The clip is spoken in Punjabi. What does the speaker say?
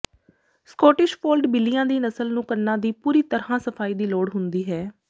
ਸਕੌਟਿਸ਼ ਫੋਲਡ ਬਿੱਲੀਆਂ ਦੀ ਨਸਲ ਨੂੰ ਕੰਨਾਂ ਦੀ ਪੂਰੀ ਤਰ੍ਹਾਂ ਸਫਾਈ ਦੀ ਲੋੜ ਹੁੰਦੀ ਹੈ